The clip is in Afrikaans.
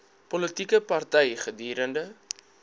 politieke party gedurende